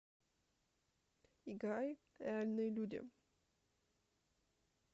играй реальные люди